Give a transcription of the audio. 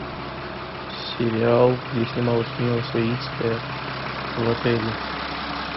сериал где снималась мила савицкая в отеле